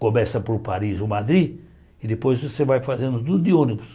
Começa por Paris ou Madrid e depois você vai fazendo tudo de ônibus.